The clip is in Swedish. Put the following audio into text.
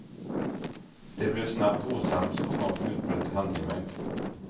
De blev snabbt osams och snart utbröt handgemäng.